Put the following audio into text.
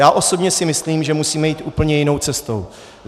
Já osobně si myslím, že musíme jít úplně jinou cestou.